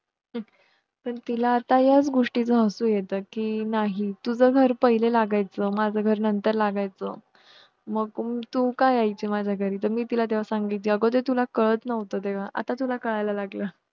पण तिला आता ह्याच गोष्टीच हसु येत कि नाही तुझं घर पहिले लागायचं माझं घर नंतर लागायचं मग तू का यायची माझ्या घरी तरी मी तिला तेंव्हा सांगितलं तुला कळतं नव्हतं तेंव्हा आता तुला कळाल्या लागलं